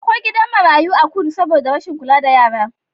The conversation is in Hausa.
Akwai gidan marayu a kudu saboda rashin kula da yara.